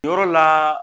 Yɔrɔ la